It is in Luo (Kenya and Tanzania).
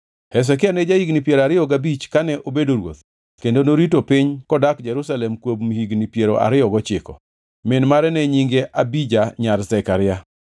Hezekia ne ja-higni piero ariyo gabich kane obedo ruoth kendo norito piny kodak Jerusalem kuom higni piero ariyo gochiko. Min mare ne nyinge Abija nyar Zekaria.